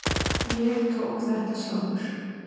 Ég tók þetta sjálfur.